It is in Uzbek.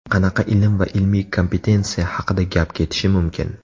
Qanaqa ilm va ilmiy kompetensiya haqida gap ketishi mumkin.